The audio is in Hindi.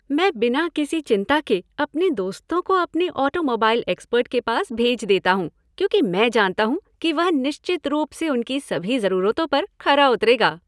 मैं बिना किसी चिंता के अपने दोस्तों को अपने ऑटोमोबाइल एक्सपर्ट के पास भेज देता हूँ क्योंकि मैं जानता हूँ कि वह निश्चित रूप से उनकी सभी ज़रूरतों पर खरा उतरेगा।